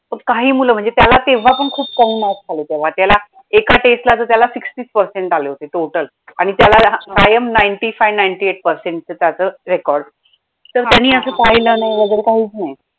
काही मूलं म्हणजे त्याला तेव्हा पण खूप कमी marks आले त्याला एका test ला त्याला तर sixty percent आले होते total आणि त्याला कायम ninety five ninety eight चे त्याचं record तर त्यांनी असे पहिले वगैरे नाही काहीच नाही.